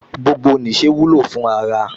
Gbogbo nìṣe wúlò fún ara